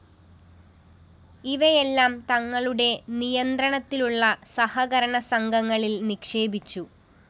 ഇവയെല്ലാം തങ്ങളുടെ നിയന്ത്രണത്തിലുളള സഹകരണ സംഘങ്ങളില്‍ നിക്ഷേപിച്ചു